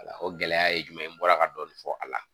O gɛlɛya ye jumɛn ye n bɔra ka dɔɔni fɔ a la